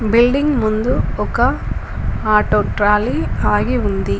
Building ముందు ఒక auto trolley ఆగి ఉంది.